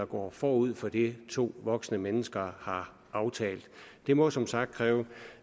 går forud for det to voksne mennesker har aftalt det må som sagt kræves